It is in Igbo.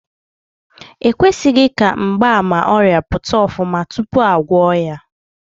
E kwesịghị ka mgbaàmà ọrịa pụta ofuma tupu a gwọọ ya.